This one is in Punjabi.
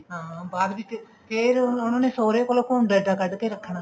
ਹਾਂ ਬਾਅਦ ਵਿੱਚ ਫ਼ੇਰ ਉਹਨਾ ਨੇ ਸਹੁਰੇ ਕੋਲੋਂ ਘੁੰਡ ਇੱਡਾ ਕੱਢ ਕੇ ਰੱਖਣਾ